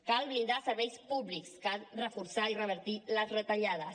cal blindar serveis públics cal reforçar i revertir les retallades